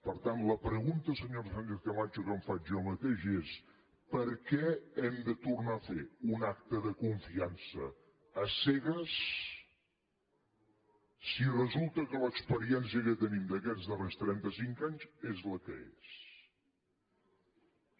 per tant la pregunta senyora sánchez camacho que em faig jo mateix és per què hem de tornar a fer un acte de confiança a cegues si resulta que l’experiència que tenim d’aquests darrers trenta cinc anys és la que és